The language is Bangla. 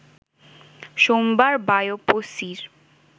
সোমবার বায়োপসি’র